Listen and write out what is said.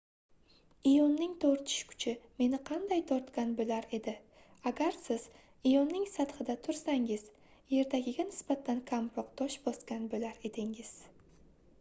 ioning tortish kuchi meni qanday tortgan boʻlar edi agar siz ioning sathida tursangiz yerdagiga nisbatan kamroq tosh bosgan boʻlar edingiz